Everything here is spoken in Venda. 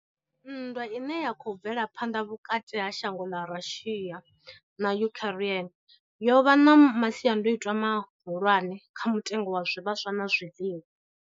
Nndwa ine ya khou bvela phanḓa vhukati ha shango ḽa Russia na Ukraine yo vha na masiandaitwa mahulwane kha mutengo wa zwivhaswa na zwiḽiwa.